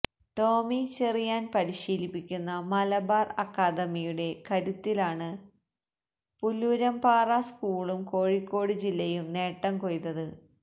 ടോമി ചെറിയാന് പരിശീലിപ്പിക്കുന്ന മലബാര് അക്കാദമിയുടെ കരുത്തിലാണ് പുല്ലൂരാമ്പാറ സ്കൂളും കോഴിക്കോട് ജില്ലയും നേട്ടം കൊയ്തത്